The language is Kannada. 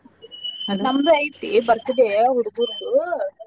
ನಮ್ದು ಐತಿ birthday ಹೂಡ್ಗುರ್ದುೂ.